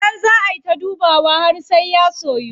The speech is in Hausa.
Sannan zaa ay ta dubawa har sai ya soyu.